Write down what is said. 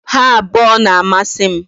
Ha abuo na-amasi m